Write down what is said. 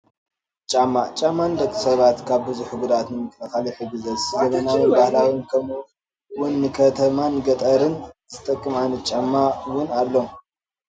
ጫማ፡- ጫማ ንደቂ ሰባት ካብ ብዙሕ ጉድኣት ንምክልኻል ይሕግዞ፡፡ ዘበናውን ባህላውን ከምኡ ውን ንኸተማን ንገጠርን ዝጠቅም ዓይነት ጫማ ውን ኣሎ፡፡